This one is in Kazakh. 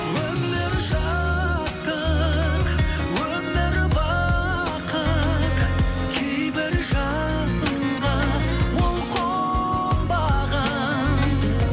өмір шаттық өмір бақыт кейбір жанға ол қонбаған